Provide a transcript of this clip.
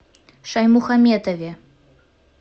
шаймухаметове